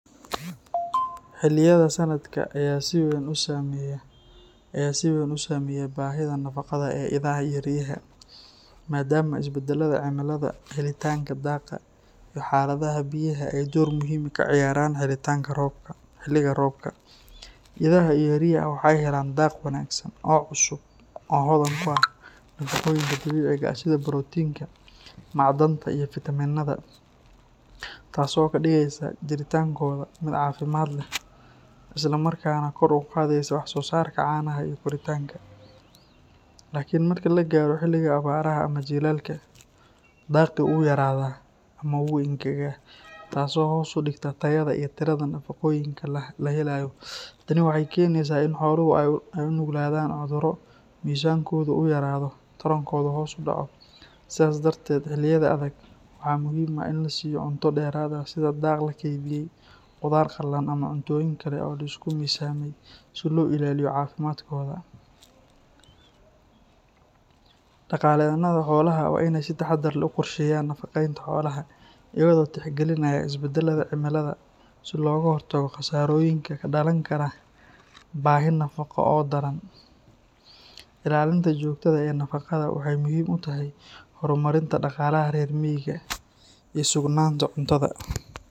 Xilliyada sanadka ayaa si weyn u saameeya baahida nafaqada ee idaha iyo riyaha, maadaama isbeddelada cimilada, helitaanka daaqa, iyo xaaladaha biyaha ay door muhiim ah ka ciyaaraan. Xilliga roobka, idaha iyo riyaha waxay helaan daaq wanaagsan oo cusub oo hodan ku ah nafaqooyinka dabiiciga ah sida borotiinka, macdanta iyo fiitamiinnada, taasoo ka dhigaysa jiritaankooda mid caafimaad leh isla markaana kor u qaadaysa wax-soosaarka caanaha iyo koritaanka. Laakiin marka la gaaro xilliga abaaraha ama jiilaalka, daaqii wuu yaraadaa ama wuu engegaa, taasoo hoos u dhigta tayada iyo tirada nafaqooyinka la helayo. Tani waxay keenaysaa in xooluhu ay u nuglaadaan cudurro, miisaankooda uu yaraado, tarankoodana uu hoos u dhaco. Sidaa darteed, xilliyada adag waxaa muhiim ah in la siiyo cunto dheeraad ah sida daaq la keydiyay, qudaar qalalan ama cuntooyin kale oo la isku miisaamay si loo ilaaliyo caafimaadkooda. Dhaqaaleyahannada xoolaha waa inay si taxadar leh u qorsheeyaan nafaqeynta xoolaha, iyagoo tixgelinaya isbeddelada cimilada si looga hortago khasaarooyinka ka dhalan kara baahi nafaqo oo daran. Ilaalinta joogtada ah ee nafaqada waxay muhiim u tahay horumarinta dhaqaalaha reer miyiga iyo sugnaanta cuntada.